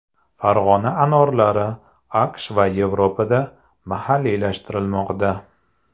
Farg‘ona anorlari AQSh va Yevropada mahalliylashtirilmoqda.